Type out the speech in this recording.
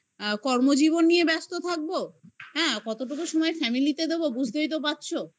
কর্মজীবন নিয়ে ব্যস্ত থাকবো? হ্যাঁ কতটুকু সময় family তে দেবো? বুঝতেই তো পারছো